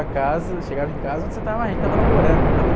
para casa, chegava em casa... Aonde você estava? Aí, a gente estava namorando.